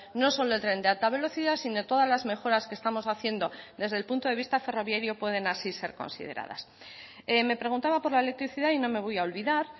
no solo el tren de alta velocidad sino todas las mejoras que estamos haciendo desde el punto de vista ferroviario pueden así ser consideradas me preguntaba por la electricidad y no me voy a olvidar